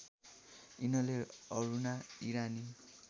यिनले अरूणा इरानी